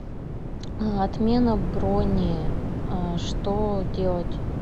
отмена брони что делать